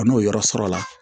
A n'o yɔrɔ sɔrɔ la